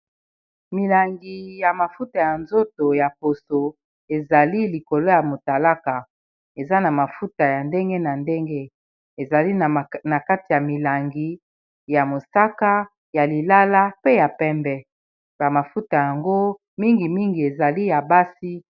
milangi ya mafuta ya nzoto ya poso ezali likolo ya motalaka eza na mafuta ya ndenge na ndenge ezali na kati ya milangi ya mosaka ya lilala pe ya pembe bamafuta yango mingimingi ezali ya basi